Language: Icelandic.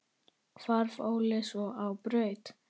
Hvarf Óli svo á braut.